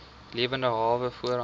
lewende hawe voorhande